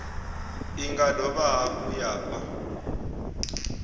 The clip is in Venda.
nga dovha hafhu ya fha